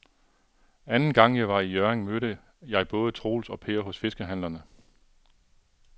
Anden gang jeg var i Hjørring, mødte jeg både Troels og Per hos fiskehandlerne.